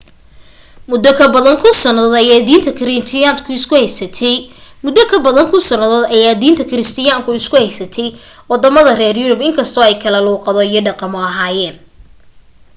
muddo ka badan kun sannadood ayay diinta kiristaanku isku haystay waddama reer yurub in kastoo ay kala luuqado iyo dhaqamo ahaayeen